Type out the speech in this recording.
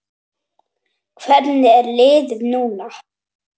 Hvernig er liðið núna?